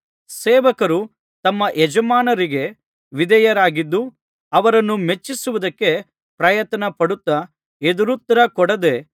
ಸೇವಕರು ತಮ್ಮ ಯಜಮಾನರಿಗೆ ವಿಧೇಯರಾಗಿದ್ದು ಅವರನ್ನು ಮೆಚ್ಚಿಸುವುದಕ್ಕೆ ಪ್ರಯತ್ನಪಡುತ್ತಾ ಎದುರುತ್ತರಕೊಡದೆ